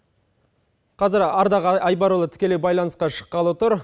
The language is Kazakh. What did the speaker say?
қазір ардақ айбарұлы тікелей бйланысқа шыққалы тұр